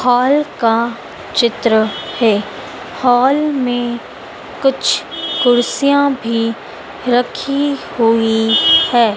Hall का चित्र है हाल में कुछ कुर्सियां भी रखी हुई है।